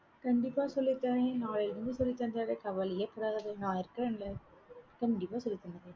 கண்டிப்பா சொல்லிதர்றேன், நாளைலிருந்து சொல்லித் தந்திடறேன் கவலையேப்படாத நான் இருக்கேன்ல கண்டிப்பா சொல்லித்தந்துருவேன்.